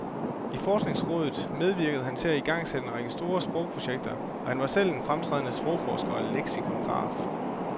I forskningsrådet medvirkede han til at igangsætte en række store sprogprojekter, og han var selv en fremtrædende sprogforsker og leksikograf.